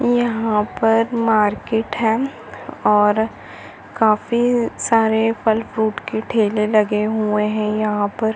यहाँ पर मार्केट है। और काफी सारे फल फ्रूट के ठेले लगे हुए है यहाँ पर।